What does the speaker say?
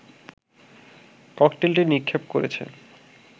ককটেলটি নিক্ষেপ করেছে